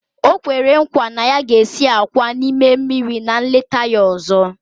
O kwere nkwa na ya ga-esi àkwá n'ime mmiri na nleta ya ọzọ